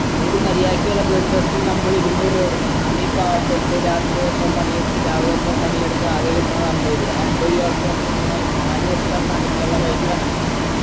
ഒരു മര്യാദക്കുള്ള blood test ൻ നമ്മൾ ഇരുന്നൂർ രൂപ കൊടുക്കണം നമ്മി പാവപ്പെട്ട് രാത്രി മൊത്തം പണിയെടുത്ത് രാവിലെ മൊത്തം പണിയെടുത്തു ആകെ കിട്ടുന്നത് അമ്പത് രൂപ ആ അമ്പത് രൂപക്ക് വന്ന നിങ്ങൾ നാല് ദിവസത്തെപണിക്കുള്ള പൈസ